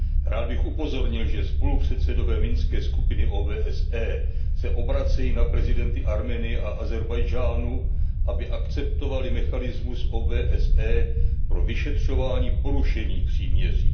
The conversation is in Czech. Rád bych upozornil, že spolupředsedové Minské skupiny OBSE se obracejí na prezidenty Arménie a Ázerbajdžánu, aby akceptovali mechanismus OBSE pro vyšetřování porušení příměří.